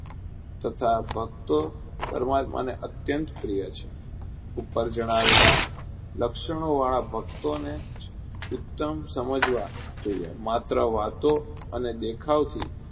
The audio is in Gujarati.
તથા ભકતો પરમાત્માને અત્યંત પ્રિય છે. ઉપર જણાવેલા લક્ષણોવાળા ભક્તોને જ ઉત્તમ સમજવા જોઈએ. માત્ર વાતો અને દેખાવથી